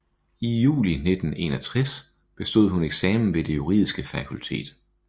I juli 1961 bestod hun eksamen ved det juridiske fakultet